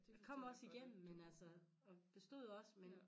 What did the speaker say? Jeg kom også igennem men altså og bestod også men